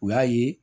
U y'a ye